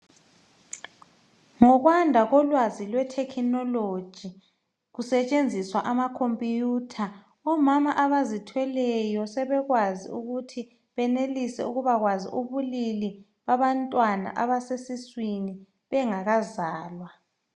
Ngokwanda kolwazi lwethekhinologi. Kusetshenziswa amacomputer, omama abazithweleyo, sebekwazi ukuthi benelise ukuba kwazi ubulili babantwana, abaseswini, bekazalwa.